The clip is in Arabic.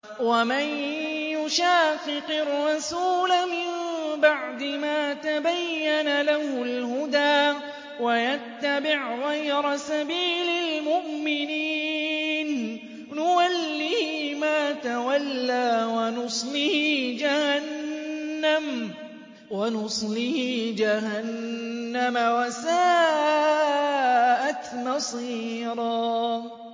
وَمَن يُشَاقِقِ الرَّسُولَ مِن بَعْدِ مَا تَبَيَّنَ لَهُ الْهُدَىٰ وَيَتَّبِعْ غَيْرَ سَبِيلِ الْمُؤْمِنِينَ نُوَلِّهِ مَا تَوَلَّىٰ وَنُصْلِهِ جَهَنَّمَ ۖ وَسَاءَتْ مَصِيرًا